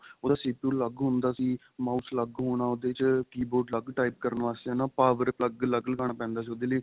ਉਹਦਾ CPU ਅੱਲਗ ਹੁੰਦਾ ਸੀ mouse ਅੱਲਗ ਹੋਣਾ keyboard ਅੱਲਗ type ਕਰਨ ਵਾਸਤੇ ਹਨਾ power plug ਅੱਲਗ ਲਗਾਣਾ ਪੈਂਦਾ ਸੀ ਉਹਦੇ ਲਈ